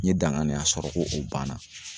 N ye daŋaniya sɔrɔ ko o banna.